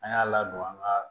An y'a ladon an ka